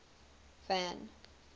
van